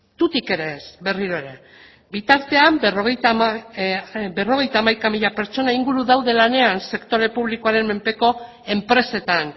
tutik ere ez berriro ere bitartean berrogeita hamaika mila pertsona inguru daude lanean sektore publikoaren menpeko enpresetan